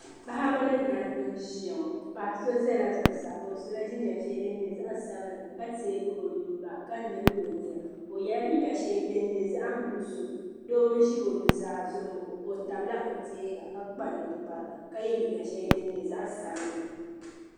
Paɣib ni dabi niziya ŋɔ paɣiso zala zuɣusaa, dola jinjam shɛli din nyɛ zaɣi sabila kateegi onuu ka nyili ɔnyina o yela liiga sheli din nyɛ zaɣi nuɣuso doo n zi onuaa zuɣuŋɔ otabla otee ŋa ka kpa ninkpara ka ye liiga shɛli din. nyɛ zaɣi sabinli